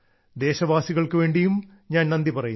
ദേശവാസികൾക്കുവേണ്ടിയും ഞാൻ നന്ദി പറയുന്നു